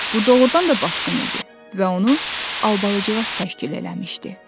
Bu doğrudan da basqın idi və onu Albalıcıqaz təşkil eləmişdi.